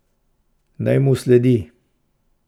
Naj mu sledi?